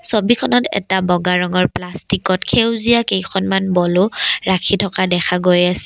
ছবিখনত এটা বগা ৰঙৰ প্লাষ্টিকত সেউজীয়া কেইখনমান বলু ৰাখি থকা দেখা গৈ আছে।